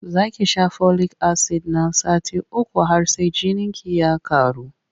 Za ki sha folik-asid na sati uku har sai jininki ya ƙaru.